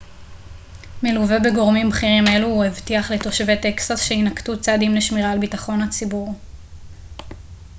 מלווה בגורמים בכירים אלו הוא הבטיח לתושבי טקסס שיינקטו צעדים לשמירה על ביטחון הציבור